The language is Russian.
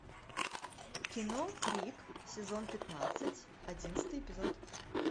кино крик сезон пятнадцать одиннадцатый эпизод